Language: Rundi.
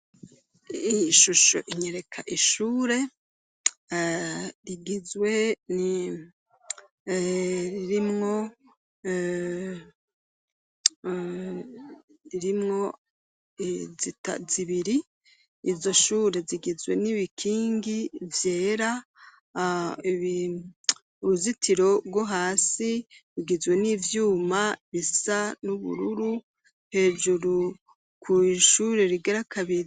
Iii shusho inyereka ishure rigizwe niimwo ririmwo zita zibiri izo shure zigizwe n'ibikingi vyera a ibi uruzitiro rwo hasi igizwe n'ivyuma bisa n'ubururu hejuru kuishure rigara kabire.